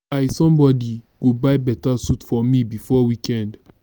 i somebody go buy beta suit for me before weekend